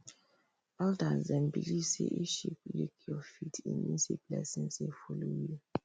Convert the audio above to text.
elders dem believe say if sheep lik your feet e mean say blessings dey follow you